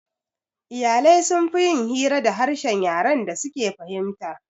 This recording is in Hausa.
Iyalai sunfi yin hira da harshen yaren da suke fahimta